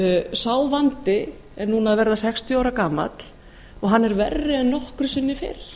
sá vandi er núna að verða sextíu ára gamall og hann er verri en nokkru sinni fyrr